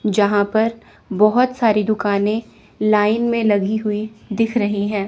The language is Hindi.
यहां पर बहुत सारी दुकानें लाइन में लगी हुई दिख रही हैं।